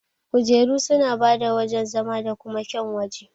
Kujeru suna bada wajan zama da kuma kyaun waje.